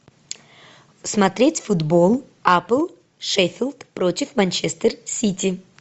смотреть футбол апл шеффилд против манчестер сити